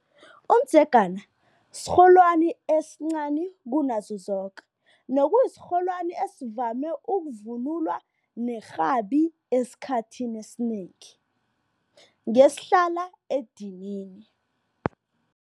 Umdzegana sirholwani esincani kunazo zoke nokuyisirholwani esivame ukuvunulwa nerhabi esikhathini esinengi ngesihlala edinini.